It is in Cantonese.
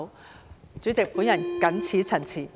代理主席，我謹此陳辭。